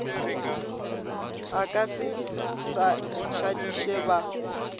a ka se šadiše ba